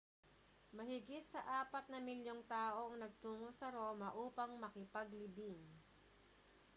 mahigit sa apat na milyong tao ang nagtungo sa roma upang makipaglibing